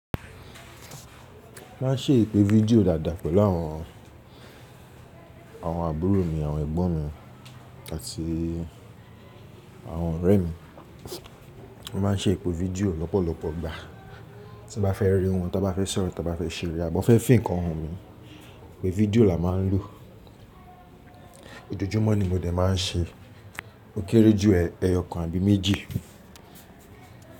Má n ṣe ìpè fídíò dàda pẹ̀lú àwọn, àwọn àbúrò mi, àwọn ẹ̀gbọ́n mi àti àwọn ọ̀rẹ́ mi. Mo má n ṣe ìpè fídíò lọ́pọ̀lọpọ̀ ìgbà, tí mo bá fẹ́ rí wọn, tí mo bá fẹ́ sọ̀rọ̀, tí mo bá fẹ́ ṣeré àbí mo fẹ́ fì ǹkan hàn mí, ìpè fídíò la má n lò. Ojojúmọ́ ni mo dẹ̀ má n ṣe, ó kéré jù ẹyọkan àbí méjì.